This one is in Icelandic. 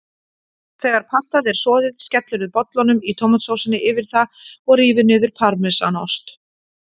Þegar pastað er soðið skellirðu bollunum í tómatsósunni yfir það og rífur niður parmesanost.